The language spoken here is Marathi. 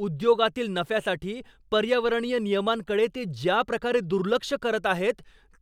उद्योगातील नफ्यासाठी पर्यावरणीय नियमांकडे ते ज्या प्रकारे दुर्लक्ष करत आहेत,